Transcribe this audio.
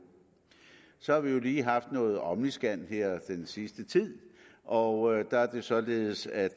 så har vi jo lige haft noget om omniscan her den sidste tid og der er det således at